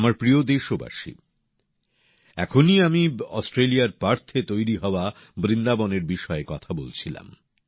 আমার প্রিয় দেশবাসী এখনই আমি অস্ট্রেলিয়ার পার্থে তৈরি হওয়া বৃন্দাবনের বিষয়ে কথা বলছিলাম